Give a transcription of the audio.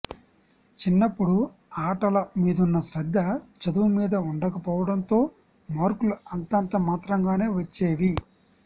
చిన్నప్పుడు ఆటల మీదున్న శ్రద్ధ చదువు మీద ఉండక పోవడంతో మార్కులు అంతంత మాత్రంగానే వచ్చేవి